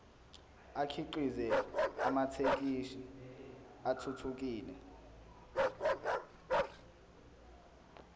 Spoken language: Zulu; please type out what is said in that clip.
akhiqize amathekisthi athuthukile